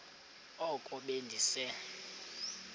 oko be ndise